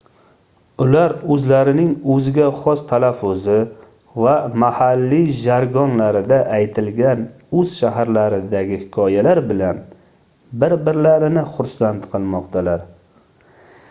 ular oʻzlarining oʻziga xos talaffuzi va mahalliy jargonlarida aytilgan oʻz shaharlaridagi hikoyalar bilan bir-birlarini xursand qilmoqdalar